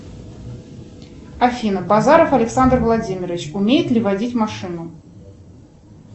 афина базаров александр владимирович умеет ли водить машину